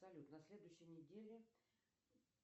салют на следующей неделе